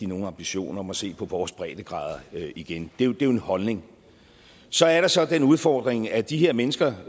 nogen ambition om at se på vores breddegrader igen det er jo en holdning så er der så er den udfordring at de her mennesker